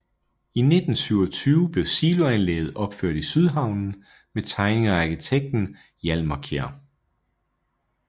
I 1927 blev siloanlægget opført i Sydhavnen med tegninger af arkitekten Hjalmar Kjær